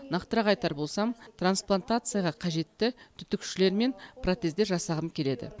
нақтырақ айтар болсам трансплантацияға қажетті түтікшелер мен протездер жасағым келеді